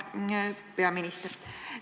Hea peaminister!